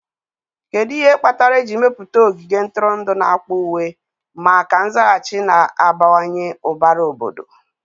Kedu ihe kpatara eji mepụta ogige ntụrụndụ n'akpa uwe maka nzaghachi na-abawanye ụbara obodo?